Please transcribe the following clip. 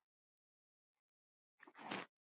Elsku Úlfar okkar.